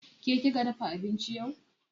Ke kika dafa abinci yau?